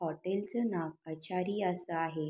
Hotel चं नाव आचारी असं आहे.